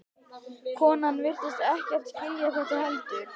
Konan virtist ekkert skilja þetta heldur.